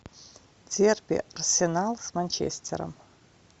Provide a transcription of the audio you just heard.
дерби арсенал с манчестером